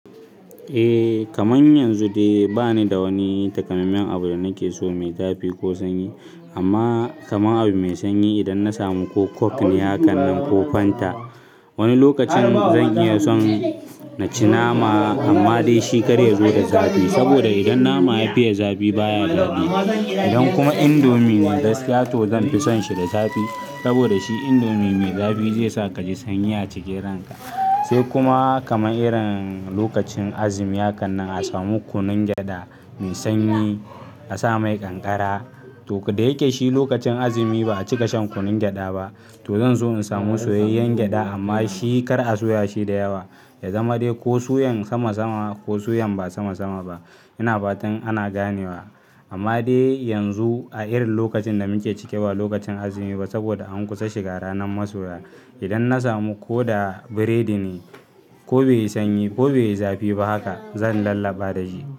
Eh kaman yanzu dai bani da wani takamammen abu da nake so mai zafi ko sanyi. Amma kamar abu mai sanyi idan na samu ko coke ne hakan nan ko fanta. Wani lokacin zan iya son na ci nama amma dai shi kar ya zo da zafi. Saboda idan nama ya fiye zafi baya daɗi. Idan kuma indomie ne da gaskiya to zanfi son shi da zafi. Saboda shi indomie mai zafi ze sa kaji sanyi a cikin ranka. Sai kuma kamar irin lokacin azumi hakan nan a samu kunun gyada mai sanyi a sa mai kankara. To dayake shi lokacin azumi ba'a cika shan kunun gyada ba. To zan so in samu soyayyen gyada amma shi kar a soya shi da yawa. Ya zama dai ko suyan sama sama ko suyan ba sama sama ba. Ina fatan ana ganewa. Amma dai yanzu a irin lokacin da muke ciki ba lokacin azumi ba saboda an kusa shiga ranar masoya. Idan na samu ko da biredi ne ko bai yi sanyi ko bai yi zafi ba haka zan lallaba da shi.